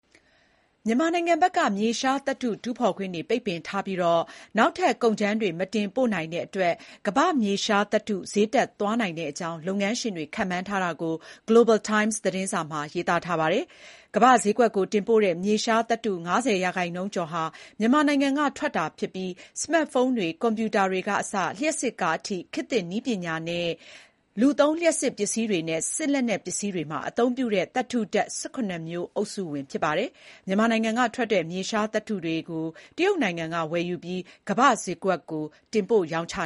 မြန်မာနိုင်ငံဘက်က မြေရှားသတ္တုတူးဖေါ်ခွင့်ပိတ်ပင်ထားပြီး နောက်ထပ် ကုန်ကြမ်းတွေ မတင်ပို့နိုင်တဲ့အတွက် ကမ္ဘာ့မြေရှားသတ္တု ဈေးတက်သွားနိုင်တဲ့အကြောင်း လုပ်ငန်းရှင်တွေ ခန့်မှန်းထားတာကို Global Times သတင်းစာမှာ ရေးပါတယ်။ ကမ္ဘာ့ဈေးကွက်ကိုတင်ပို့တဲ့ မြေရှားသတ္တု ၅၀ ရာခိုင်နှုန်းကျော်ဟာ မြန်မာနိုင်ငံကထွက်တာ ဖြစ်ပါတယ်။ မြေရှားသတ္တုဆိုတာဟာ စမတ်ဖုန်းတွေ၊ ကွန်ပျူတာတွေကအစ လျှပ်စစ်ကားအထိ ခေတ်သစ်နည်းပညာနဲ့ လူသုံး လျှပ်စစ်ပစ္စည်းတွေနဲ့ စစ်လက်နက်ပစ္စည်းတွေမှာအသုံးပြုတဲ့ သတ္တု ဓာတ် ၁၇ မျိုး အုပ်စုဝင်ဖြစ်ပါတယ်။ မြန်မာနိုင်ငံကထွက်တဲ့ မြေရှားသတ္တုတွေကို တရုတ်နိုင်ငံက ဝယ်ယူပြီး ကမ္ဘာဈေးကွက်ကို တင်ပို့ရောင်းချ